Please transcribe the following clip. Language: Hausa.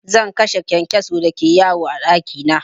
Zan kashe kyankyason da ke yawo a ɗaki na.